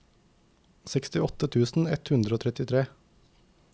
sekstiåtte tusen ett hundre og trettitre